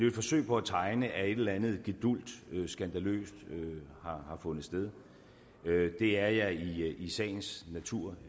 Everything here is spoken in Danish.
et forsøg på at tegne at et eller andet gedulgt skandaløst har fundet sted det er jeg i sagens natur